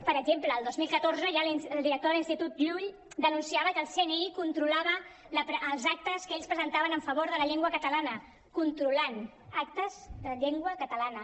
per exemple el dos mil catorze ja el director de l’institut llull denunciava que el cni controlava els actes que ells presentaven a favor de la llengua catalana controlant actes de llengua catalana